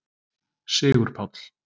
Sigurpáll